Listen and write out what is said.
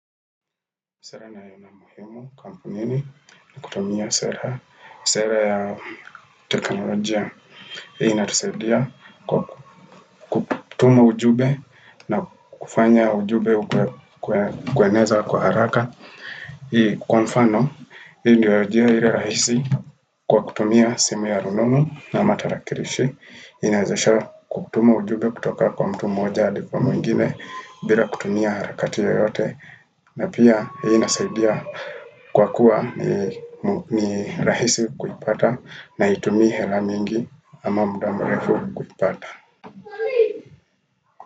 Sera na yenye umuhimu kampunini kutumia sera ya teknolojia. Hii inatisaidia kwa kutuma ujumbe na kufanya ujumbe kueneza kwa haraka. Hii kwa mfano, hii ndiyo njia ili rahisi kwa kutumia simu ya rununu ama tarakilishi. Inawezesha kutuma ujumbe kutoka kwa mtu moja hadi kwa mwingine bila kutumia harakati yoyote. Na pia hii nasaidia kwa kuwa ni rahisi kuipata na haitumii hela miingi ama muda mrefu kuipata.